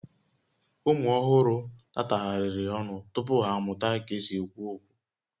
Ụmụ ọhụrụ tatagharịrị ọnụ tupu ha amụta ka e si ekwu okwu